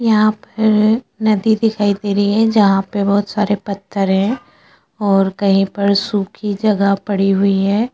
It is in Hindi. यहाँ पर नदी दिखाई दे रही है जहाँ पे बहुत सारि पत्थर है और कही पर सुखी जगह पड़ी हुई है।